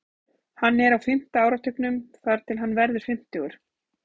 Hann er á fimmta áratugnum þar til hann verður fimmtugur.